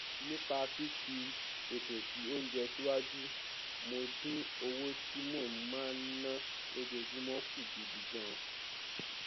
nípa fífi ètò sí oúnjẹ síwájú mo dín owó tí mo máa ná lójoojúmọ kù gidi gan